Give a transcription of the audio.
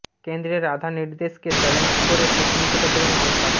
কেন্দ্রের আধার নির্দেশকে চ্যালেঞ্জ করে সুপ্রিম কোর্টে গেলেন মমতা